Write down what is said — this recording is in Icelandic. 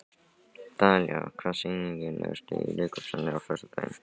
Dalía, hvaða sýningar eru í leikhúsinu á föstudaginn?